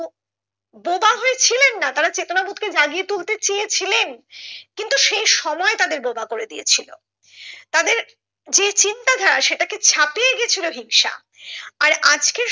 বোবা হয়ে ছিলেন না তারা চেতনা বোধকে জাগিয়ে তুলতে চেয়েছিলেন কিন্তু সেই সময় তাদের বোবা করে দিয়েছিলো তাদের যে চিন্তা ধারা সেটা কে ছাপিয়ে গেছিলো হিংসা আর আজকে